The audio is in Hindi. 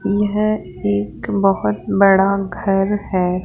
यह एक बहोत बड़ा घर है।